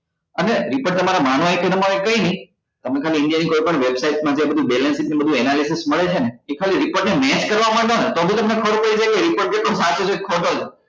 અને report તમારે માનવા હોય કે તમારે કઈ નઈ તમે ખાલી india ની કોઈ પણ website માં જે analysis મળે છે ને એ ખાલી report ને match કરવા માંડો ને તો બી તમને ખબર પડી જાય કે report કેટલો સાચો છે કે ખોટો છે